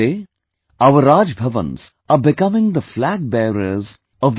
Today, our Raj Bhavans are becoming the flag bearers of the T